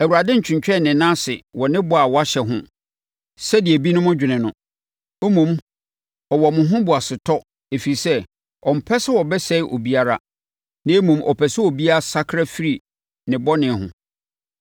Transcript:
Awurade ntwentwɛn ne nan ase wɔ ne bɔ a wahyɛ ho sɛdeɛ ebinom dwene no. Mmom, ɔwɔ mo ho boasetɔ ɛfiri sɛ, ɔmpɛ sɛ wɔbɛsɛe obiara, na mmom, ɔpɛ sɛ obiara sakra firi ne bɔne ho.